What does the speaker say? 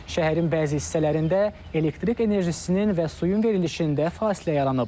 Şəhərin bəzi hissələrində elektrik enerjisinin və suyun verilişində fasilə yaranıb.